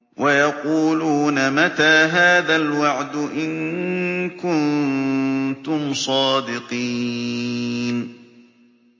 وَيَقُولُونَ مَتَىٰ هَٰذَا الْوَعْدُ إِن كُنتُمْ صَادِقِينَ